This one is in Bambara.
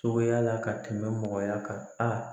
Cogoya la ka tɛmɛ mɔgɔya kan aa